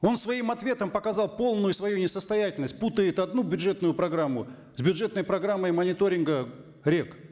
он своим ответом показал полную свою несостоятельность путает одну бюджетную программу с бюджетной программой мониторинга рек